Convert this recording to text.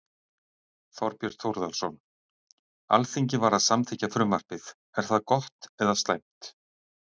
Þorbjörn Þórðarson: Alþingi var að samþykkja frumvarpið, er það gott eða slæmt?